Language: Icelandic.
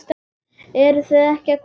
Eruð þið ekki að koma?